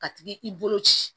Ka t'i i bolo ci